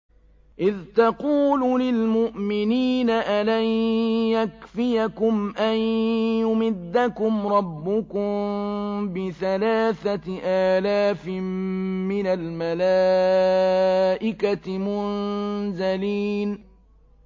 إِذْ تَقُولُ لِلْمُؤْمِنِينَ أَلَن يَكْفِيَكُمْ أَن يُمِدَّكُمْ رَبُّكُم بِثَلَاثَةِ آلَافٍ مِّنَ الْمَلَائِكَةِ مُنزَلِينَ